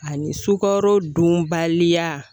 Ani sukaro dunbaliya.